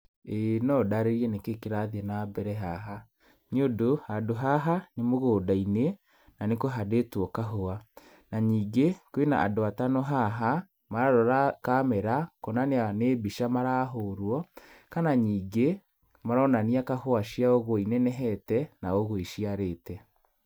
ĩĩ no ndarĩrie nĩkĩĩ kĩrathiĩ na mbere haha. Nĩ ũndũ, handũ haha, nĩ mũgũnda-inĩ, na nĩ kũhandĩtwo kahũa. Na ningĩ, kwĩna andũ atano haha, mararora camera kuonania nĩ mbica marahũrwo, kana nĩngĩ, maronania kahũa ciao ũguo inenehete na ũguo iciarĩte.